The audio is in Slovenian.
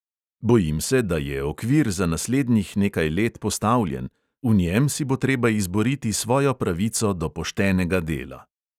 Bojim se, da je okvir za naslednjih nekaj let postavljen: v njem si bo treba izboriti svojo pravico do poštenega dela!